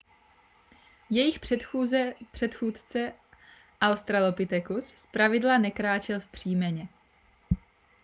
jejich předchůdce australopithecus zpravidla nekráčel vzpřímeně